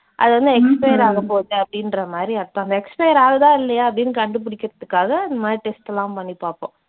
அது வந்து expire ஆகபோது அப்படின்ற மாதிரி அர்த்தம். அந்த expire ஆகுதா இல்லையா அப்படின்னு கண்டுபிடிக்கறதுக்காக அந்த மாதிரி test எல்லாம் பண்ணி பார்ப்போம்.